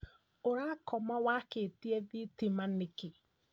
Urakom wakĩtie thitima nĩkĩĩ?